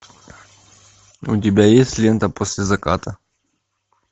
у тебя есть лента после заката